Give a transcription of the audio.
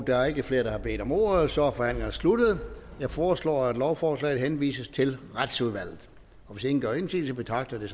der er ikke flere der har bedt om ordet så forhandlingen er sluttet jeg foreslår at lovforslaget henvises til retsudvalget hvis ingen gør indsigelse betragter